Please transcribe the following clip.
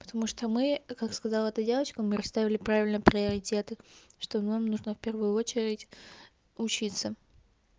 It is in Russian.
потому что мы как сказала та девочка мы расставили правильно приоритеты что нам нужно в первую очередь учиться